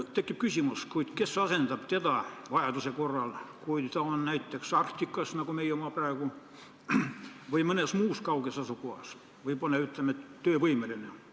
Tekib küsimus: kes asendab teda vajaduse korral, kui ta on näiteks Antarktikas nagu meie oma praegu või mõnes muus kauges asukohas või pole, ütleme, töövõimeline?